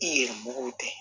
I yɛrɛ mɔgɔw tɛ